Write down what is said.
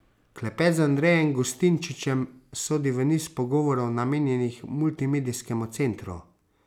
Klepet z Andrejem Gustinčičem sodi v niz pogovorov, namenjenih Multimedijskemu centru.